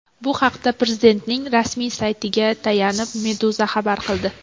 Bu haqda Prezidentning rasmiy saytiga tayanib Meduza xabar qildi .